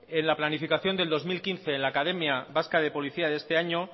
en la planificación de dos mil quince en la academia vasca de policía de este año